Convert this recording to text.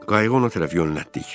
Qayığı ona tərəf yönəltdik.